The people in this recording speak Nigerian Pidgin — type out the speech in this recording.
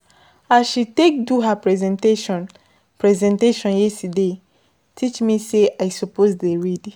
As she take do her presentation presentation yesterday teach me sey I suppose dey read.